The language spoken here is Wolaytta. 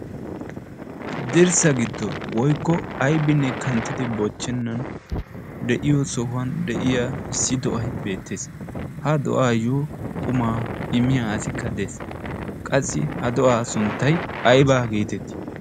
dirssa giddon woykko aybinne kanttidi bochchennan de'iyo sohuwan de'iya issi do'ay beettees. ha do'aayyo qumaa immiya aasikka de'ees. qassi ha do'aa sunttay aybaa geetettii?